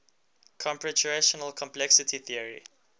computational complexity theory